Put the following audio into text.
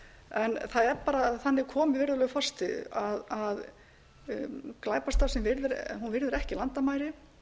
en það er bara þannig komið virðulegur forseti að glæpastarfsemi virðir ekki landamæri